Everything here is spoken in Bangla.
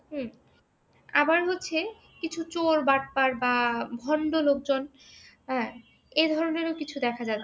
হম আবার হচ্ছে কিছু চোর, বাটপার বা ভন্ড লোকজন হ্যাঁ? এ ধরনের কিছু দেখা যাচ্ছে।